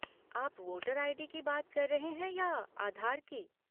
आप voter ID. की बात कर रहे हैं या आधार की?